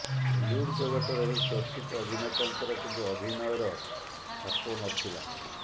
ଓଲିଉଡ୍ ଜଗତର ଏହି ଚର୍ଚ୍ଚିତ ଅଭିନେତାଙ୍କର କିନ୍ତୁ ଅଭିନୟର ଛାପ ନ ଥିଲା